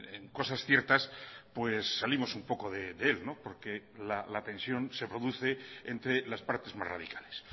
en cosas ciertas pues salimos un poco de él porque la tensión se produce entre las partes más radicales